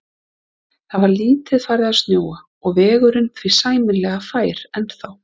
Það var lítið farið að snjóa og vegurinn því sæmilega fær ennþá.